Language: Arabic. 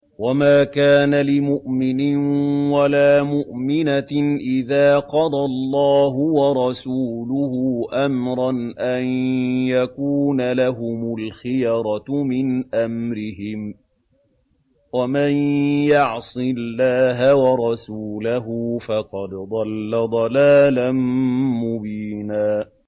وَمَا كَانَ لِمُؤْمِنٍ وَلَا مُؤْمِنَةٍ إِذَا قَضَى اللَّهُ وَرَسُولُهُ أَمْرًا أَن يَكُونَ لَهُمُ الْخِيَرَةُ مِنْ أَمْرِهِمْ ۗ وَمَن يَعْصِ اللَّهَ وَرَسُولَهُ فَقَدْ ضَلَّ ضَلَالًا مُّبِينًا